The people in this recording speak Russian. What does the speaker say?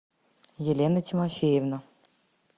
елена тимофеевна